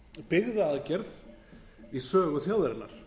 byggðaaðgerð í sögu þjóðarinnar